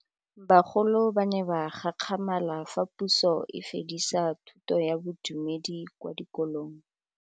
Bagolo ba ne ba gakgamala fa Pusô e fedisa thutô ya Bodumedi kwa dikolong.